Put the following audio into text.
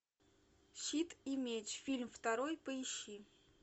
щит и меч фильм второй поищи